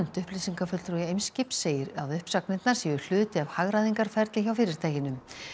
upplýsingafulltrúi Eimskips segir að uppsagnirnar séu hluti af hagræðingarferli hjá fyrirtækinu